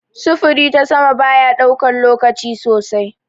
Sufuri ta sama bayaɗaukan lokaci sosai.